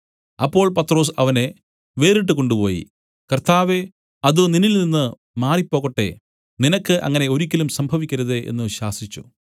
അപ്പോൾ പത്രൊസ് അവനെ വേറിട്ടു കൊണ്ടുപോയി കർത്താവേ അത് നിന്നിൽനിന്നു മാറിപ്പോകട്ടെ നിനക്ക് അങ്ങനെ ഒരിക്കലും സംഭവിക്കരുതേ എന്നു ശാസിച്ചു